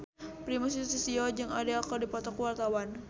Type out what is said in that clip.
Primus Yustisio jeung Adele keur dipoto ku wartawan